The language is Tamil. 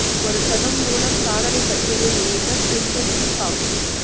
ஒரு சதம் மூலம் சாதனை பட்டியலில் இணைந்த குவின்டன் டி காக்